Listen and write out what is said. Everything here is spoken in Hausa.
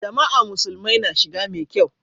Juma'a musulmai na shiga mai kyau.